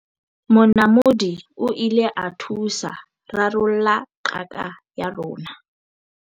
monamodi o ile a thusa rarolla qaka ya rona